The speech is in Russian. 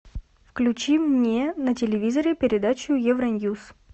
включи мне на телевизоре передачу евроньюс